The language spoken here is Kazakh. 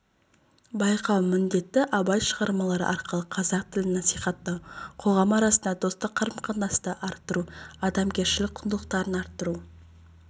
байқау міндеті абай шығармалары арқылы қазақ тілін насихаттау қоғам арасында достық қарым-қатынасты арттыру адамгершілік құндылықтарды арттыру